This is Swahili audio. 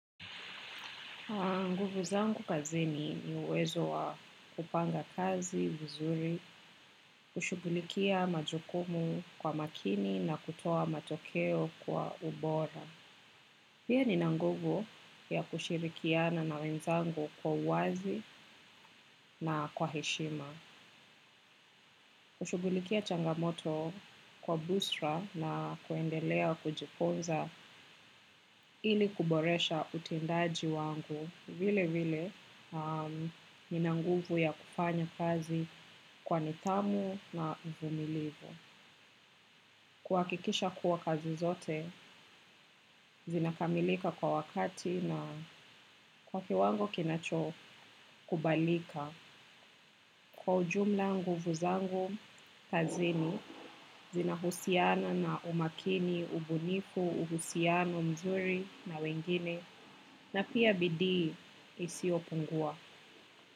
Nguvu zangu kazini ni uwezo wa kupanga kazi vizuri, kushughulikia majukumu kwa makini na kutoa matokeo kwa ubora. Pia nina nguvu ya kushirikiana na wenzangu kwa uwazi na kwa heshima. Hushughulikia changamoto kwa busara na kuendelea kujifunza ili kuboresha utendaji wangu vilevile. Nina nguvu ya kufanya kazi kwa nidhamu na uvumilivu. Kuhakikisha kuwa kazi zote, zinakamilika kwa wakati na kwa kiwango kinacho kubalika. Kwa ujumla nguvu zangu kazini zina husiana na umakini, ubunifu, uhusiano, mzuri na wengine na pia bidii isiyo pungua.